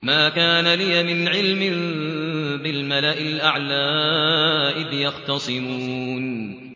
مَا كَانَ لِيَ مِنْ عِلْمٍ بِالْمَلَإِ الْأَعْلَىٰ إِذْ يَخْتَصِمُونَ